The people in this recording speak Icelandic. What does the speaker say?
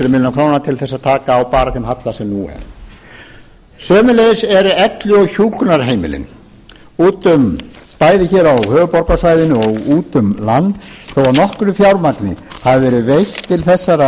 króna til að taka á bara þeim halla sem nú er sömuleiðis eru elli og hjúkrunarheimilin bæði hér á höfuðborgarsvæðinu og út um land þó að nokkru fjármagni hafi verið veitt til